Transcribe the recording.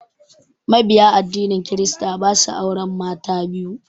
Mabiya addinin kirista ba su auren mata biyu.